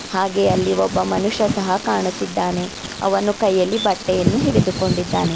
ಹಾಗೆ ಅಲ್ಲಿ ಒಬ್ಬ ಮನುಷ್ಯ ಸಹ ಕಾಣುತ್ತಿದ್ದಾನೆ ಅವನು ಕೈಯಲ್ಲಿ ಬಟ್ಟೆಯನ್ನು ಹಿಡಿದು ಕೊಂಡಿದ್ದಾನೆ.